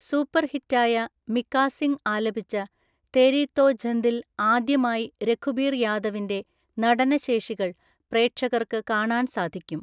Super ഹിറ്റായ മികാ സിംഗ് ആലപിച്ച 'തേരി തോ ഝന്ദി'ൽ ആദ്യമായി രഘുബീർ യാദവിന്‍റെ നടനശേഷികൾ പ്രേക്ഷകർക്ക് കാണാൻ സാധിക്കും.